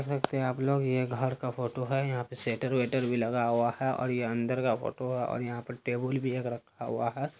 देख सकते हैं आप लोग ये घर का फोटो है यहाँ शटर वेटर भी लगा हुआ है और ये अंदर का फोटो है और यहाँ पर टेबुल भी एक रखा हुआ है।